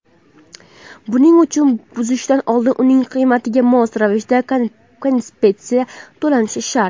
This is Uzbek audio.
buning uchun buzishdan oldin uning qiymatiga mos ravishda kompensatsiya to‘lanishi shart.